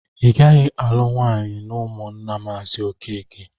Igaghi alụ nwanyi n'ụmụnna mazi okeke!